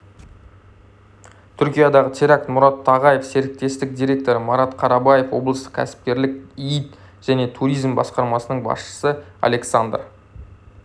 түркиядағы теракт мұрат тағаев серіктестік директоры марат қарабаев облыстық кәсіпкерлік иид және туризм басқармасының басшысы александр